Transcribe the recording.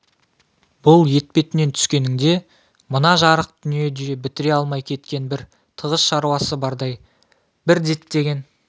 бұл етпетінен түскенің де мына жарық дүниеде бітіре алмай кеткен бір тығыз шаруасы бардай бір діттеген